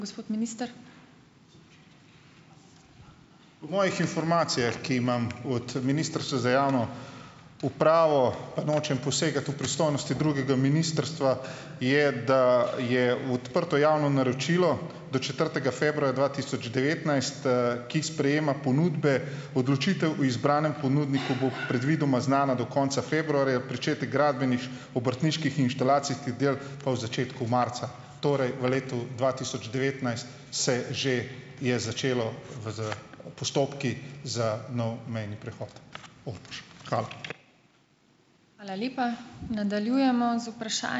Po mojih informacijah, ki jih imam od ministrstva za javno upravo, pa nočem posegati v pristojnosti drugega ministrstva, je, da je odprto javno naročilo do četrtega februarja dva tisoč devetnajst, ki sprejema ponudbe. Odločitev o izbranem ponudniku bo predvidoma znana do konca februarja, pričetek gradbenih obrtniških inštalacij, teh del pa v začetku marca. Torej v letu dva tisoč devetnajst se že je začelo v, s postopki za nov mejni prehod Ormož. Hvala.